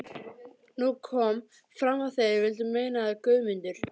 Nú kom fram að þeir vildu meina að Guðmundur